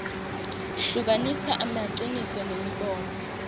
hlukanisa emaciniso nemibono